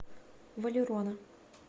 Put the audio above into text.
валерона